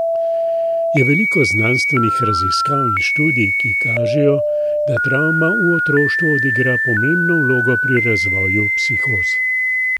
Je veliko znanstvenih raziskav in študij, ki kažejo, da travma v otroštvu odigra pomembno vlogo pri razvoju psihoz.